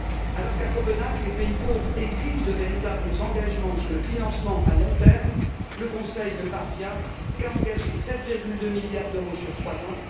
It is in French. Alors qu'à Copenhague, les pays pauvres exigent de véritables engagements sur le financement à long terme, le Conseil ne parvient qu'à engager 7,2 milliards d'euros sur trois ans.